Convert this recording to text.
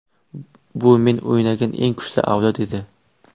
Bu men o‘ynagan eng kuchli avlod edi.